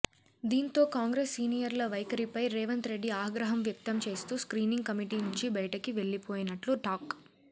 దీంతో కాంగ్రెస్ సీనియర్ల వైఖరిపై రేవంత్ రెడ్డి ఆగ్రహం వ్యక్తం చేస్తూ స్ర్కీనింగ్ కమిటీ నుంచి బయటికి వెళ్లిపోయినట్లు టాక్